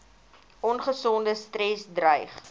ongesonde stres dreig